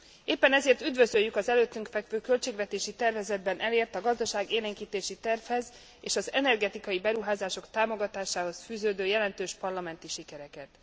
Éppen ezért üdvözöljük az előttünk fekvő költségvetési tervezetben elért, a gazdaságélénkítési tervhez és az energetikai beruházások támogatásához fűződő jelentős parlamenti sikereket.